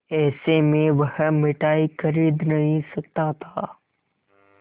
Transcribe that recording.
ऐसे में वह मिठाई खरीद नहीं सकता था